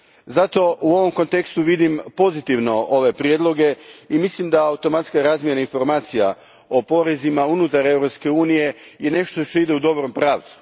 Zato, u ovom kontekstu vidim pozitivno ove prijedloge i mislim da je automatska razmjena informacija o porezima unutar Europske unije nešto što ide u dobrom pravcu.